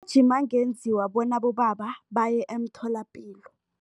angenziwa bona abobaba baye emtholapilo.